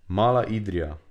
Mala Idrija.